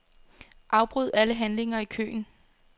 Afbryd alle handlinger i køen.